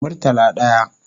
Murtala daya